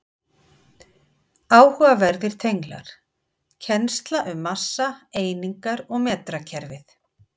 Áhugaverðir tenglar: Kennsla um massa, einingar og metrakerfið.